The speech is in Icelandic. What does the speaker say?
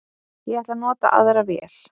Ég ætla að nota í aðra vél